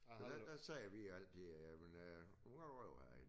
Men dengang sagde vi altid jamen øh du må godt ryge herinde